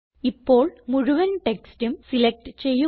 ഇപ്പോൾ മുഴുവൻ ടെക്സ്റ്റും സിലക്റ്റ് ചെയ്യുക